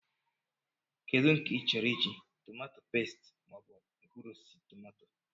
Kedu nke ị chọrọ I ji, tomato peste mọọbụ mkpụrụosisi tọmatọ?